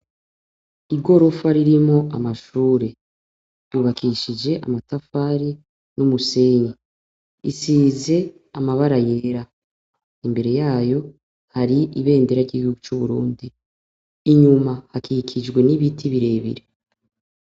Igorofa ririmwo amashure. Ryubakishije amatafari y'umusenyi. Isize amabara yera. Imbere yayo, hari ibendera ry'igihugu c'Uburundi. Inyuma hakikijwe n'ibiti birebire.